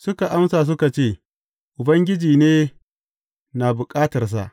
Suka amsa suka ce, Ubangiji ne na bukatarsa.